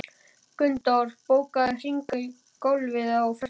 Gunndór, bókaðu hring í golf á föstudaginn.